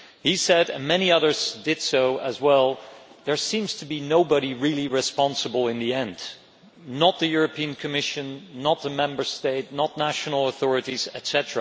He said and many others did as well that there seems to be nobody really responsible in the end not the Commission, not a Member State, not national authorities, etc.